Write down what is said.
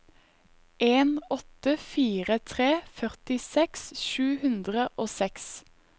en åtte fire tre førtiseks sju hundre og seks